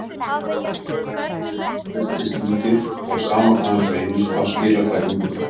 Sjálfstraustið virðist lítið og sama hvað hann reynir þá skilar það engu.